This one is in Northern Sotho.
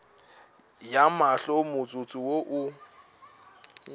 ya mahlo motsotso wo o